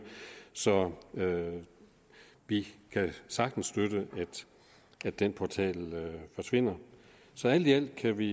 så vi kan sagtens støtte at den portal forsvinder så alt i alt kan vi